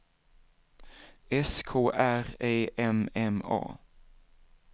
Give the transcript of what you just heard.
S K R Ä M M A